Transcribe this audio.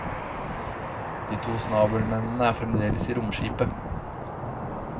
De to snabelmennene er fremdeles i romskipet.